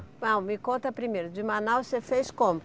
Bom, me conta primeiro, de Manaus você fez como?